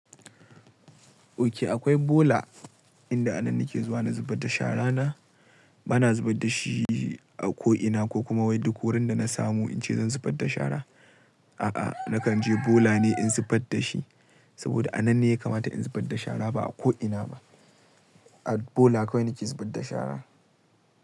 Ok, akwai bola inda anan nake zuwa na zubar da shara na. Bana zubar da shi a ko ina ko kuma wai duk wurin da na samu in ce zan zubar da shara. A'a, nakan je bola ne in zubar da shi. Saboda anan ne ya kamata in zubar da shara ba a ko ina ba. A bola kawai nake zubar da shara.